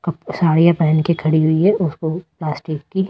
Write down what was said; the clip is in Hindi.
साड़ियां पहन के खड़ी हुई है उसको प्लास्टिक की----